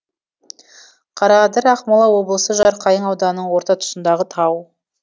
қараадыр ақмола облысы жарқайың ауданының орта тұсындағы тау